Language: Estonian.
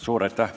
Suur aitäh!